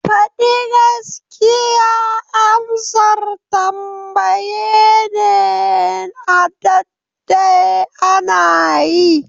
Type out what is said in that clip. Fadi gaskiya amsan tambaye ne na a ɗadde ana yi.